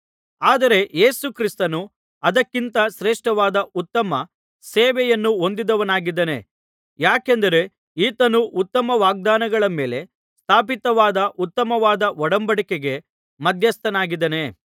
ಆದರೆ ಯೇಸು ಕ್ರಿಸ್ತನು ಅದಕ್ಕಿಂತ ಶ್ರೇಷ್ಠವಾದ ಉತ್ತಮ ಸೇವೆಯನ್ನು ಹೊಂದಿದವನಾಗಿದ್ದಾನೆ ಯಾಕೆಂದರೆ ಈತನು ಉತ್ತಮ ವಾಗ್ದಾನಗಳ ಮೇಲೆ ಸ್ಥಾಪಿತವಾದ ಉತ್ತಮವಾದ ಒಡಂಬಡಿಕೆಗೆ ಮಧ್ಯಸ್ಥನಾಗಿದ್ದಾನೆ